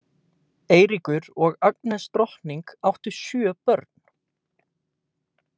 Eiríkur og Agnes drottning áttu sjö börn.